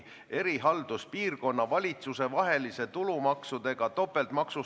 Panen hääletusele eelnõu 47 muudatusettepaneku nr 1.